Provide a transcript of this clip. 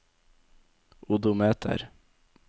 odometer